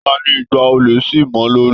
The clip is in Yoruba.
Taní ìgbà olè sí mọ lórí?